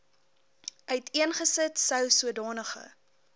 uiteengesit sou sodanige